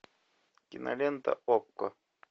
кинолента окко